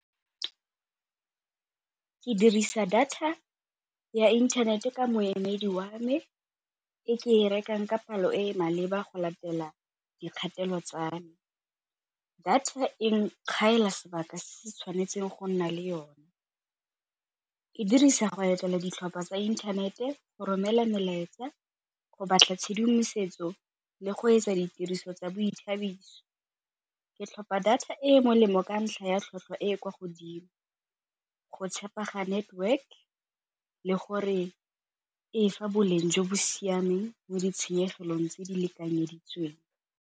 Ke dirisa data ya inthanete ka moemedi wa me e ke e rekang ka palo e e maleba go latela dikgatelo tsa me, data e sebaka se se tshwanetseng go nna le yone ka e dirisa go etela ditlhopha tsa inthanete, go romela melaetsa go batla tshedimosetso le go etsa ditiriso tsa boithabiso. Ke tlhopa data e molemo ka ntlha ya tlhotlhwa e e kwa godimo, go tshepega network le gore e fa boleng jo bo siameng mo ditshenyegelong tse di lekanyeditsweng.